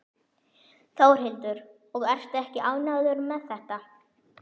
Þórhildur: Og ertu ekki ánægður með þetta?